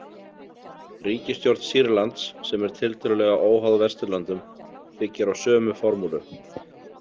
Ríkisstjórn Sýrlands, sem er tiltölulega óháð Vesturlöndum, byggir á sömu formúlu.